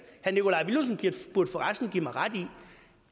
herre nikolaj villumsen burde for resten give mig ret i